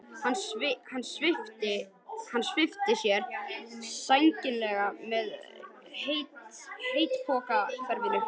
Hann svipti af sér sænginni með hveitipokaverinu